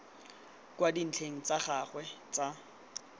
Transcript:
kwa dintlheng tsa gagwe tsa